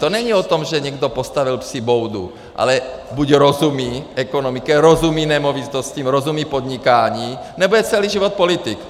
To není o tom, že někdo postavil psí boudu, ale buď rozumí ekonomice, rozumí nemovitostem, rozumí podnikání, nebo je celý život politik.